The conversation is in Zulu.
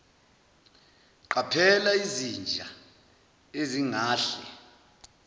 qaphela izinja ezingahle